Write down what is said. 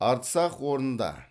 арцах орнында